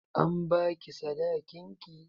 An ba ki sadakin ki?